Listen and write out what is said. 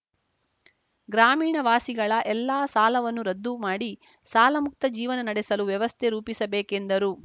ಗ್ರಾಮೀಣ ವಾಸಿಗಳ ಎಲ್ಲಾ ಸಾಲವನ್ನು ರದ್ದುಮಾಡಿ ಸಾಲಮುಕ್ತ ಜೀವನ ನಡೆಸಲು ವ್ಯವಸ್ಥೆ ರೂಪಿಸಬೇಕೆಂದರು